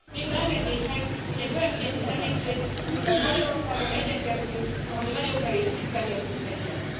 Végül engedjék meg, hogy egy olyan ügyet is említsek, amiben Magyarországon egyetértünk, noha mi nagyon kevés ügyben értünk egyet.